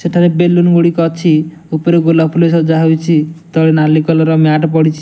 ସେଠାରେ ବେଲୁନ ଗୁଡିକ ଅଛି। ଉପରେ ଗୋଲାପ ଫୁଲ ସଜାହେଇଛି। ତଳେ ନାଲି କଲର ମ୍ୟାଟ ପଡିଛି।